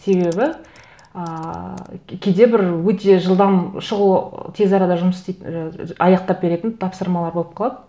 себебі ыыы кейде бір өте жылдам шұғыл тез арада жұмыс аяқтап беретін тапсырмалар болып қалады